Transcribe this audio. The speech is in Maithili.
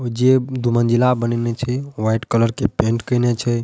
और जे दू मंजिला बनेने छै व्हाइट कलर के पेंट केना छै।